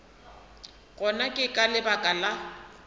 gona ke ka lebaka la